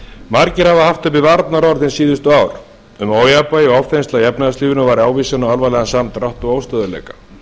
margir hafa haft uppi varnaðarorð hin síðustu ár um að ójafnvægi og ofþensla í efnahagslífinu væri ávísun á alvarlegan samdrátt og óstöðugleika